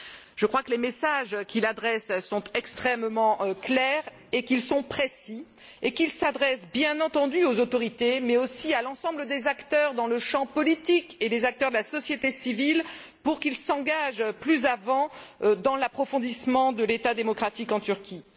Je crois que les messages qu'il adresse sont extrêmement clairs et précis et qu'ils s'adressent bien entendu aux autorités, mais aussi à l'ensemble des acteurs dans le champ politique et des acteurs de la société civile pour qu'ils s'engagent plus avant dans l'approfondissement de l'État démocratique en Turquie.